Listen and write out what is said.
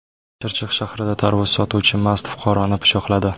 Chirchiq shahrida tarvuz sotuvchi mast fuqaroni pichoqladi.